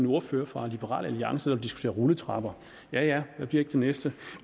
ordfører fra liberal alliance der har diskuteret rulletrapper ja ja hvad bliver det næste